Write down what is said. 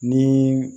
Ni